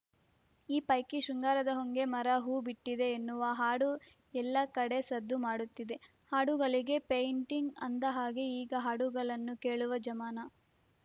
ಈ ಪೈಕಿ ಶೃಂಗಾರದ ಹೊಂಗೆ ಮರ ಹೂ ಬಿಟ್ಟಿದೆ ಎನ್ನುವ ಹಾಡು ಎಲ್ಲ ಕಡೆ ಸದ್ದು ಮಾಡುತ್ತಿದೆ ಹಾಡುಗಳಿಗೆ ಪೇಯಿಂಟಿಂಗ್‌ ಅಂದಹಾಗೆ ಈಗ ಹಾಡುಗಳನ್ನು ಕೇಳುವ ಜಮಾನ